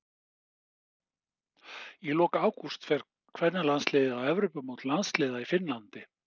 Í lok ágúst fer kvennalandsliðið á Evrópumót landsliða í Finnlandi.